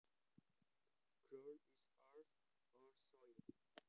Ground is earth or soil